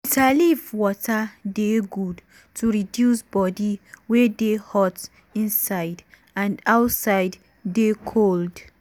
bitter leaf water dey good to reduce body wey dey hot inside and outside dey cold.